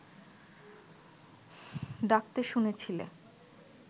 ডাকতে শুনেছিলে